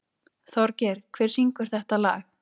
Þorgeir, hver syngur þetta lag?